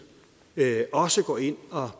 også går ind og